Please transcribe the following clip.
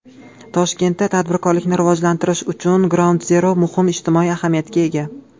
Toshkentda tadbirkorlikni rivojlantirish uchun Groundzero muhim ijtimoiy ahamiyatga ega.